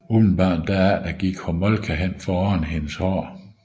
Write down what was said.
Umiddelbart derefter gik Homolka hen for at ordne hendes hår